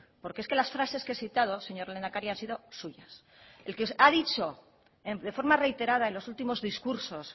porque es que las frases que he citado señor lehendakari han sido suyas el que ha dicho de forma reiterada en los últimos discursos